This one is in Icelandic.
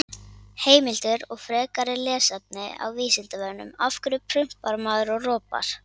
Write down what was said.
Heimildir og frekara lesefni á Vísindavefnum: Af hverju prumpar maður og ropar?